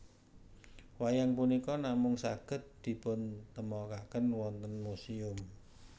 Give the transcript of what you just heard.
Wayang punika namung saged dipuntemokaken wonten muséum